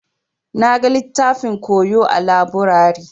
Na gan littafin koyo a laburare.